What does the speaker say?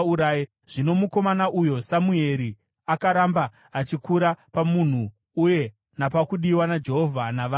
Zvino mukomana uyu Samueri akaramba achikura pamumhu uye napakudiwa naJehovha navanhu.